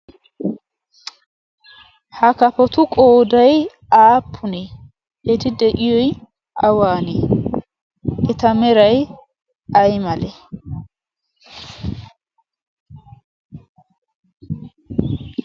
ha kafotu qoodai aapune eti de7iyoi awaanee eta merai ai male?